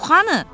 Pux hanı?